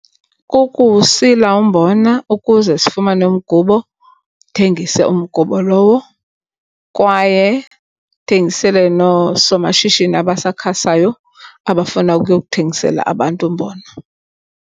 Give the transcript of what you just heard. Kukuwusila umbona ukuze sifumane umgubo uthengise umgubo lowo. Kwaye ndithengisele noosomashishini abasakhasayo abafuna ukuyo kuthengisela abantu umbona.